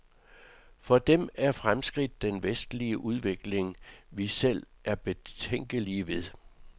For dem er fremskridt den vestlige udvikling, vi selv er betænkelige ved.